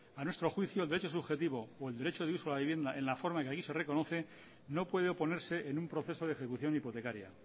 a nuestro juicio el derecho subjetivo o el derecho de uso a la vivienda en la forma que aquí se reconoce no puede oponerse en un proceso de ejecución hipotecaria